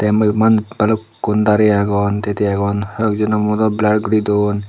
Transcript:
eh mujurmanun balukkun darey agon tiye tiye agon hoyekjono muh do blar gori duon.